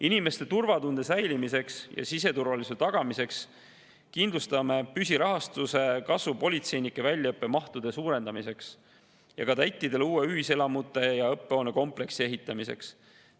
Inimeste turvatunde säilitamiseks ja siseturvalisuse tagamiseks kindlustame püsirahastuse kasvu politseinike väljaõppe mahtude suurendamiseks ja kadettidele uue ühiselamute ja õppehoone kompleksi ehitamiseks.